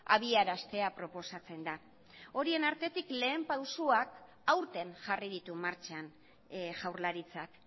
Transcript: abiaraztea proposatzen da horien artetik lehen pausuak aurten jarri ditu martxan jaurlaritzak